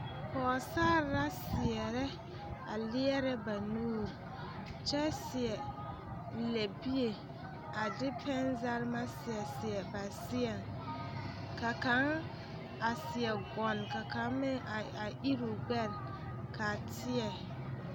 Pɔgesare la seɛrɛ a leɛrɛ ba nuuri kyɛ seɛ lɛbie a de pɛnezɛremɛ seɛ seɛ ba seɛŋ ka kaŋ a seɛ gɔŋ ka kaŋ meŋ a a iri o gbɛre k,a teɛ.